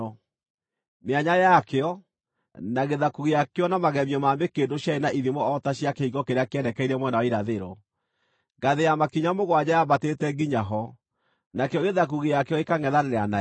Mĩanya yakĩo, na gĩthaku gĩakĩo na magemio ma mĩkĩndũ ciarĩ na ithimo o ta cia kĩhingo kĩrĩa kĩerekeire mwena wa irathĩro. Ngathĩ ya makinya mũgwanja yaambatĩte nginya ho, nakĩo gĩthaku gĩakĩo gĩkangʼethanĩra nayo.